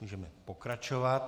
Můžeme pokračovat.